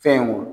Fɛn wo